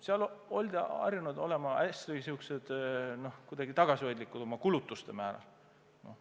Seal oldi harjunud oma kulutustega hästi tagasihoidlikud olema.